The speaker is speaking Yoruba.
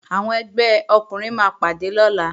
Àwọn ẹgbẹ́ ọkùnrin máa pàdé lọ́la